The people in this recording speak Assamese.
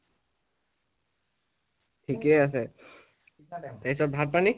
থিকে আছে তাৰপিছত ভাত পানী?